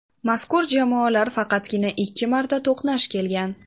Mazkur jamoalar faqatgina ikki marta to‘qnash kelgan.